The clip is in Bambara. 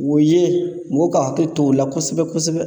O ye mɔgɔw ka hakili to o la kosɛbɛ kosɛbɛ